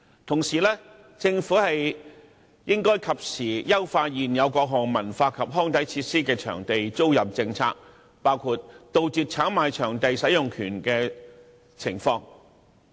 同時，政府應該及時優化現有各項文化及康體設施的場地租賃政策，包括杜絕炒賣場地使用權的情況。